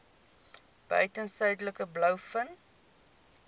buiten suidelike blouvin